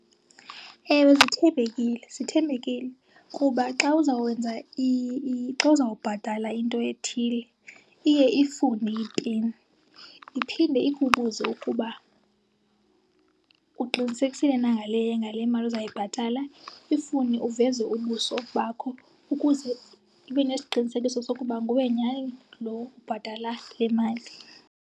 Ewe zithembekile, zithembekile. Kuba xa uzawenza , xa uzawubhatala into ethile iye ifune ipin. Iphinde ikubuze ukuba uqinisekisile na ngale, ngale mali uzawuyibhatala, ifune uveze ubuso bakho ukuze ibe nesiqinisekiso sokuba nguwe nyhani loo ubhatala le mali.